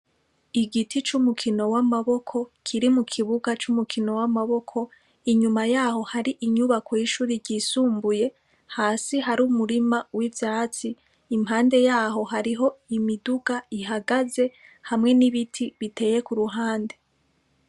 Igiti c'umukino w'amaboko, kiri mu kibuga c'umukino w'amaboko, inyuma ya ho hari inyubako y'ishuri ryisumbuye, hasi hari umurima w'ivyatsi, impande ya ho hariho imiduga ihagaze, hamwe n'ibiti biteye ku ruhande.